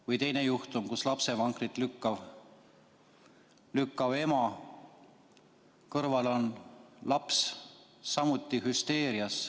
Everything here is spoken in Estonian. Või teine juhtum: lapsevankrit lükkav ema, kõrval on laps, samuti hüsteerias.